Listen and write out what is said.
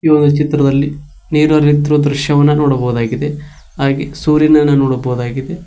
ಈ ಒಂದು ಚಿತ್ರದಲ್ಲಿ ನೀರು ಹರಿಯುತ್ತಿರುವ ದೃಶ್ಯವನ್ನ ನೋಡಬಹುದಾಗಿದೆ ಹಾಗೆ ಸೂರ್ಯನನ್ನು ನೋಡಬಹುದಾಗಿದೆ.